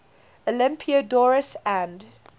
olympiodoros and